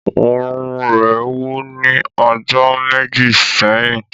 Ọrùn ​​rẹ wú ni ọjọ meji sẹhin.